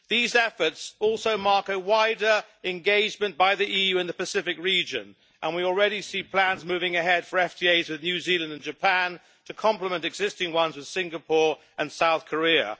These efforts also mark a wider engagement by the EU in the Pacific region, and we already see plans moving ahead for FTAs with New Zealand and Japan to complement existing ones with Singapore and South Korea.